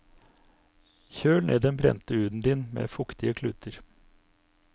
Kjøl ned den brente huden din med fuktige kluter.